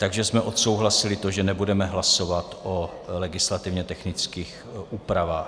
Takže jsme odsouhlasili to, že nebudeme hlasovat o legislativně technických úpravách.